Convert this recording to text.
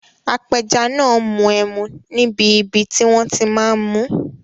Apẹja náà n mu ẹmu níbi ibi tí wọ́n ti máa n mú